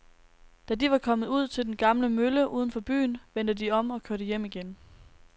Da de var kommet ud til den gamle mølle uden for byen, vendte de om og kørte hjem igen.